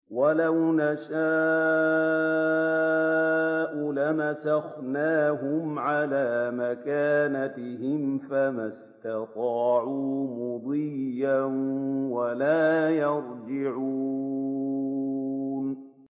وَلَوْ نَشَاءُ لَمَسَخْنَاهُمْ عَلَىٰ مَكَانَتِهِمْ فَمَا اسْتَطَاعُوا مُضِيًّا وَلَا يَرْجِعُونَ